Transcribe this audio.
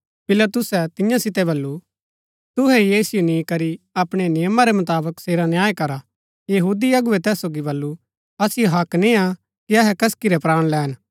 पिलातुसै तियां सितै बल्लू तुहै ही ऐसिओ नी करी अपणै नियमा रै मुताबक सेरा न्याय करा यहूदी अगुवै तैस सोगी बल्लू असिओ हक्क नियां कि अहै कसकी रै प्राण लैन